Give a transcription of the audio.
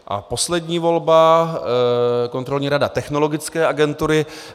A poslední volba, Kontrolní rada Technologické agentury.